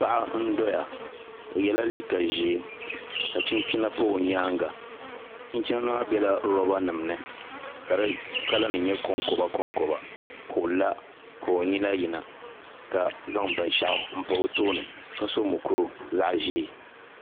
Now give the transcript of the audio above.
Paɣa n doya o yɛla liiga ʒiɛ ka chinchina pa o nyaanga chinchina maa biɛla roba nim ni ka di kala nim nyɛ konkoba konkoba ka o la ka o nyina yina ka zaŋ binshaɣu n pa o tooni ka so mukuru zaɣ ʒiɛ